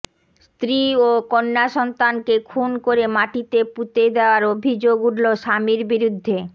স্ত্রী ও কন্যাসন্তানকে খুন করে মাটিতে পুঁতে দেওয়ার অভিযোগ উঠল স্বামীর বিরুদ্ধে